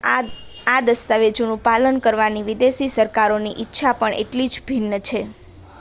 આ દસ્તાવેજોનું પાલન કરવાની વિદેશી સરકારોની ઇચ્છા પણ એટલી જ ભિન્ન છે